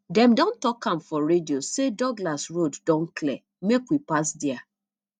dem don talk am for radio sey douglas road don clear make we pass there